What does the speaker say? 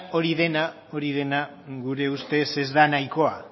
hori dena gure ustez ez da nahikoa